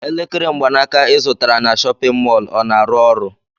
Elekere mgbanaka ị zụtara na chọpịn mọọlụ ọ na-arụ ọrụ?